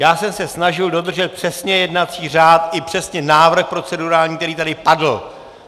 Já jsem se snažil dodržet přesně jednací řád i přesně návrh procedurální, který tady padl.